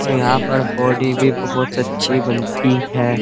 यहाँ पर बॉडी भी बोहोत अच्छी बनती है।